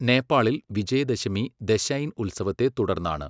നേപ്പാളിൽ വിജയദശമി, ദശൈൻ ഉത്സവത്തെ തുടർന്നാണ്.